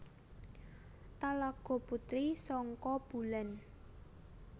Talago Puti Sangka Bulan